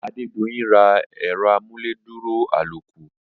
Adedoyin ra ẹ̀rọ amúnádúró àlòkù.